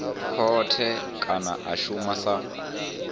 khothe kana a shuma sa